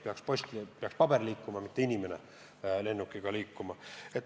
Ikka post, paber peaks liikuma, mitte inimene lennukiga kohale sõitma.